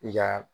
I ka